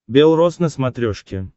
белрос на смотрешке